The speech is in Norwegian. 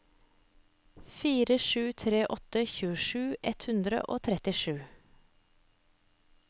fire sju tre åtte tjuesju ett hundre og trettisju